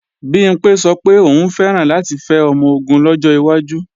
Bimpé sọ pé òun fẹ́ràn láti fẹ́ ọmọ-ogun lọ́jọ́ iwájú